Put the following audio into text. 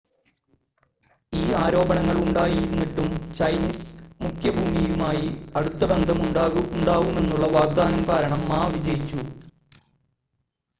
ഈ ആരോപണങ്ങൾ ഉണ്ടായിരുന്നിട്ടും ചൈനീസ് മുഖ്യഭൂമിയുമായി അടുത്ത ബന്ധം ഉണ്ടാവും എന്നുള്ള വാഗ്ദാനം കാരണം മാ വിജയിച്ചു